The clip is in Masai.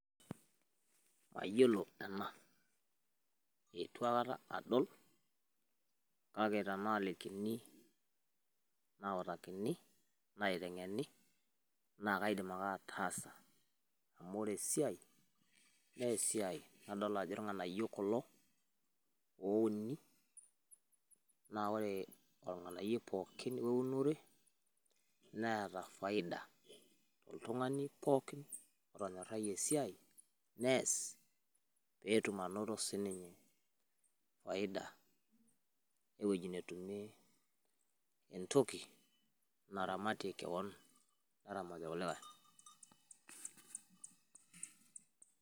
mayiolo ena eitu aikata adol, kake tenaalikini, nautakini, naitengeni naa kaidim ake ataasa. amu ore esiaai, naa esiai nadoolta ajo irng'anayio kulo, ouni naa ore olng'anayoi pookin we unore neeta faida. oltuungani pookin otonyorayie esiai nees, pee etum anoto sii ninye faida. ewueji netumie entoki naramitie kewon neramatie irkulikae.